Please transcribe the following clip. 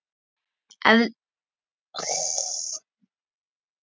Þú hefur kennt mér margt.